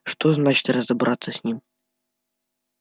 что значит разобраться с ним